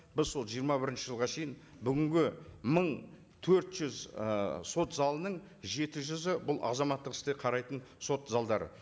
біз сол жиырма бірінші жылға шейін бүгінгі мың төрт жүз ы сот залының жеті жүзі бұл азаматтық істі қарайтын сот залдары